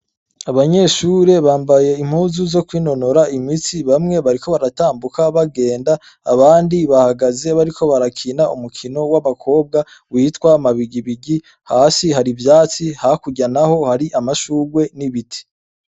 Abanyeshure bambaye impuzu zokwinonora imitsi bamwe bariko baratambuka bagende abandi bahagaze bariko barakina umukino w' abakobwa witwa mabigibigi hasi har' ivyatsi hakurya naho hari amashurwe n' ibiti.